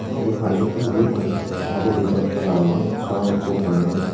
indiyo pani undi yo pani tey saidodi gachbala agon sagossey mannan.